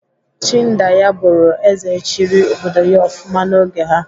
Chindaya bụrụ ézè chịrị obodo ya ofụma n'oge ha.